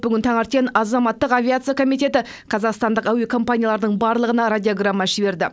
бүгін таңертен азаматтық авиация комитеті қазақстандық әуекомпаниялардың барлығына радиограмма жіберді